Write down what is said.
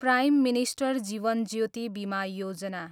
prime minister Jeevan Jyoti Bima Yojana